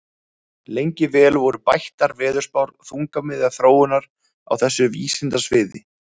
Lengi vel voru bættar veðurspár þungamiðja þróunar á þessu vísindasviði.